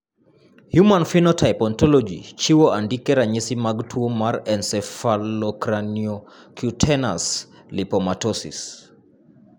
Human Phenotype Ontology chiwo andike ranyisi mag tuo mar Encephalocraniocutaneous lipomatosis.